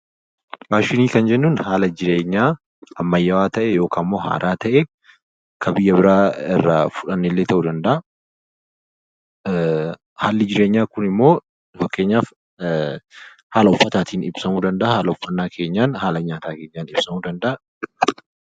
Faashinii kan jennuun haala jireenyaa ammayyaa ta'e kan biyya biraarraa fudhannellee ta'uu danda'a. Haalli jireenyaa kunimmoo fakkeenyaaf haala uffannaa, haala nyaataa keenyaan ibsamuu danda'a.